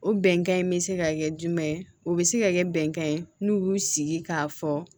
O bɛnkan in bɛ se ka kɛ jumɛn ye o bɛ se ka kɛ bɛnkan ye n'u y'u sigi k'a fɔ